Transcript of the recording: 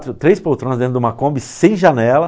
Três poltronas dentro de uma Kombi, sem janela.